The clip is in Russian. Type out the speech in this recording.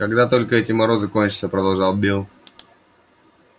когда только эти морозы кончатся продолжал билл